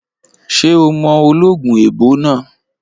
Ṣé o mọ ológun èèbó náà?